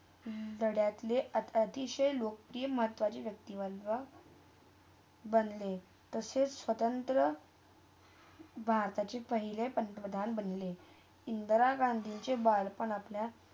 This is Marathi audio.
दडातले अता अतिशय लोकप्रिय महत्वाचे व्यक्तीवधवा बनले तेसच स्वतंत्र भारताच्या पहिल्या पंतप्रधान बनले. इंदिरा गांधीच्या बाळ -पणातल्या